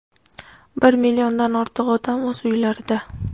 Bir milliondan ortiq odam o‘z uylarida.